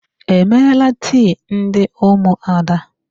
E meela tii ndị ụmụada?